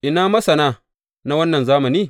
Ina masana na wannan zamani?